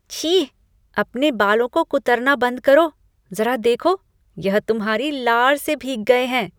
छी! अपने बालों को कुतरना बंद करो। ज़रा देखो, यह तुम्हारी लार से भीग गए हैं।